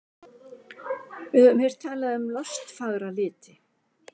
Við höfum heyrt talað um lostfagra liti.